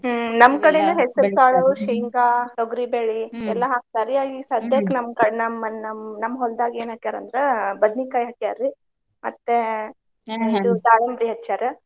ಹ್ಮ್ ನಮ್ಮ್ ಶೇಂಗಾ, ತೊಗರಿ ಎಲ್ಲಾ ಹಾಕ್ತಾರಿ ಈಗ್ ನಮ್ಮ್ ಕ~ ನಮ್ಮ್ ನಮ್ಮ್ ನಮ್ಮ್ ಹೊಲ್ದಾಗ ಏನ ಹಾಕ್ಯಾರ ಅಂದ್ರ ಬದ್ನಿಕಾಯಿ ಹಾಕ್ಯಾರಿ ಮತ್ತೆ ದಾಳಂಬ್ರಿ ಹಚ್ಯಾರ.